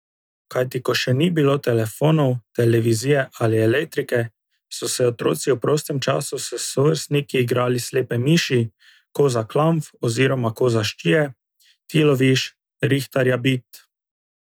Kajti ko še ni bilo telefonov, televizije ali elektrike, so se otroci v prostem času s sovrstniki igrali slepe miši, koza klamf oziroma koza ščije, ti loviš, rihtarja bit...